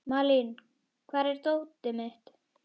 Malín, hvar er dótið mitt?